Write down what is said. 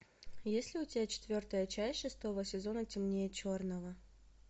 есть ли у тебя четвертая часть шестого сезона темнее черного